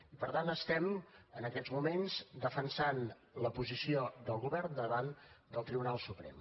i per tant estem en aquests moments defensant la posició del govern davant del tribunal suprem